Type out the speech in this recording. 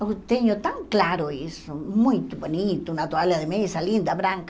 Eu tenho tão claro isso, muito bonito, uma toalha de mesa linda, branca.